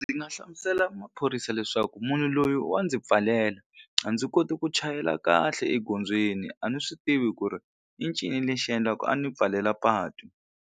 Ndzi nga hlamusela maphorisa leswaku munhu loyi wa ndzi pfalela a ndzi koti ku chayela kahle egondzweni a ni swi tivi ku ri i ncini lexi endlaka a ni pfalela patu.